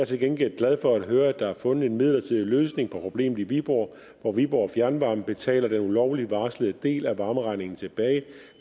til gengæld glad for at høre at der er fundet en midlertidig løsning på problemet i viborg hvor viborg fjernvarme betaler den ulovligt varslede del af varmeregningen tilbage